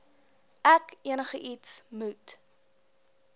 ek enigiets moet